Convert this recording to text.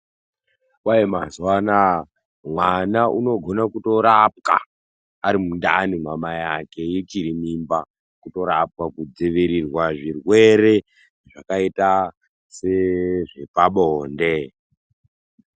Kwai mazuva anaya mwana unogona kutorapwa ari mundani mamai ake echiri mimba. Kutorapwa kudzirirwa zvirwere zvakaita sezve pabonde.